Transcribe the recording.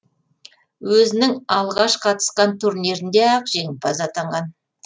өзінің алғаш қатысқан турнирінде ақ жеңімпаз атанған